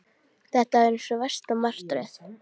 Þetta var eins og versta martröð!